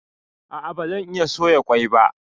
A'a bazan iya soya ƙwai ba